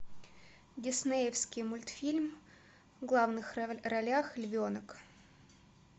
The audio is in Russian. диснеевский мультфильм в главных ролях львенок